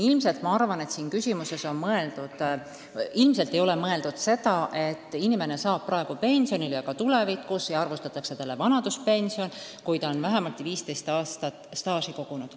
Ma arvan, et selles küsimuses ilmselt ei ole mõeldud seda, et inimene saab praegu pensionile ja ka tulevikus arvutatakse talle vanaduspension, kui ta on vähemalt 15 aastat staaži kogunud.